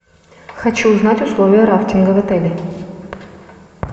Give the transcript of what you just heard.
хочу узнать условия рафтинга в отеле